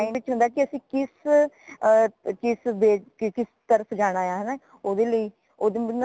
ਓਨਾ ਦੇ mind ਚ ਹੁੰਦਾ ਕਿ ਕਿਸ ਅਹ ਤਰਾਹ ਸਜਾਣਾ ਹੈ ਹੈ ਨਾ ਓਦੇ ਲਈ ਉਦਾ ਮੈਨੂੰ